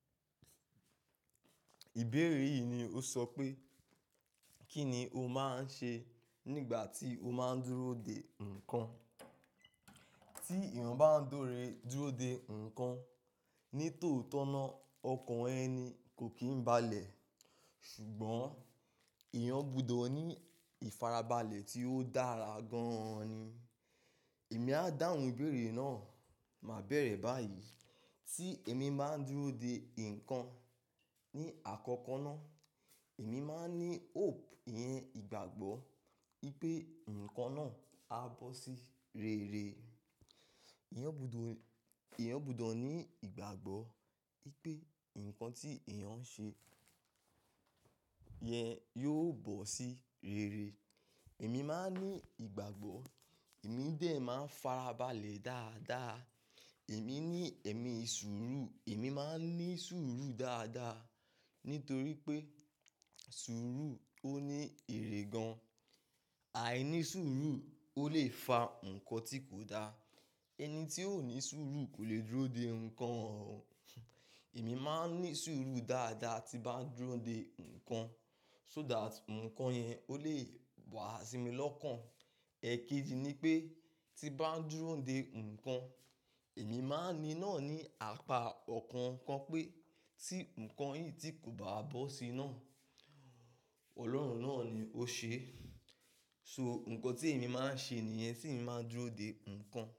Ìbéèrè yìí ni ó sọ pé, kí ni o máa ń ṣe nígbà tí o máa ń dúró de nǹkan? Tí èèyàn bá ń dore dúró de nǹkan, ní tòótọ́ náà ọkàn ẹni kò kí ń balẹ̀. Ṣùgbọ́n èèyàn gbọdọ̀ ní ìfarabalẹ̀ tí ó dára gan-an ni. Èmi á dáhùn ìbéèrè náà, màá bẹ̀rẹ̀ báyìí. Tí èmi bá ń dúró de nǹkan ní àkọ́kọ́ náà, èmi máa ń ní hope, ìyẹn ìgbàgbọ́ pé nǹkan náà á bọ́ sí rere. Ẹ̀yàn gbúdó, èèyàn gbọdọ̀ ní ìgbàgbọ́ pé nǹkan tí èèyàn ń ṣe yẹn yóò bọ́ sí rere. Èmi máa ń ní ìgbàgbọ́, èmi dè ẹ́ máa ń farabalẹ̀ dáadáa. Èmi ní ẹ̀mí sùúrù, èmi máa ń ní sùúrù dáadáa. Nítorí pé sùúrù ó ní èrè gan-an. Áìní sùúrù ó lè fa nǹkan tí kò da. Ẹni tí ò ní sùúrù kò lè dúró de nǹkan. Èmi máa ń ní sùúrù dáadáa tí bá ń dúró de nǹkan, so that nǹkan yẹn ó lè wá sí mi lọ́kàn. Ẹ̀kéjì ni pé tí bá ń dúró de nǹkan, èmi máa ń ní náà ní apá ọ̀kan kan pé tí nǹkan yìí tí kò bá bọ́ sí náà, Ọlọ́run náà ni ó ṣe é. So nǹkan tí èmi máa ń ṣe nìyẹn, tí ń máa ń dúró de nǹkan.